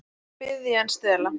Betra er að biðja en stela.